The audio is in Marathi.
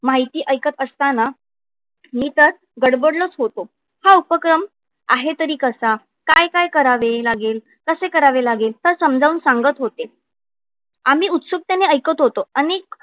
माहिती ऐकत असताना मी तर गडबडलोच होतो. हा उपक्रम आहे तरी कसा? काय काय करावे लागेल? कसे करावे लागेल? sir समजावून सांगत होते. आम्ही उत्सुकतेने ऐकत होतो. अनेक